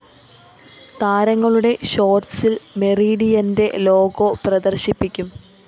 താരങ്ങളുടെ ഷോര്‍ട്‌സില്‍ മെറീഡിയന്റെ ലോഗോ പ്രദര്‍ശിപ്പിക്കും